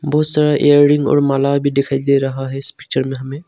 बहुत सारा ईयरिंग और माला भी दिखाई दे रहा है इस पिक्चर में हमें।